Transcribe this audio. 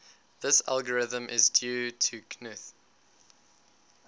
this algorithm is due to knuth